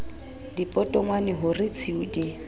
dipotongwane ho re tshiu di